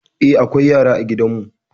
Eh, akwai yara a gidan mu.